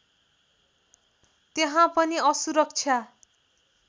त्यहाँ पनि असुरक्षा